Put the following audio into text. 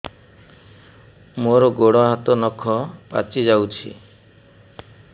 ମୋର ଗୋଡ଼ ହାତ ନଖ ପାଚି ଯାଉଛି